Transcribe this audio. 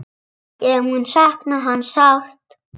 Ég mun sakna hans sárt.